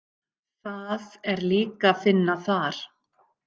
Það er líka fínna þar.